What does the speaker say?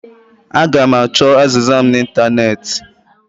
Aga m achọ azịza mụ na ịntanetị